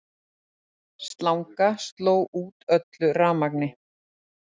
Slanga sló út öllu rafmagni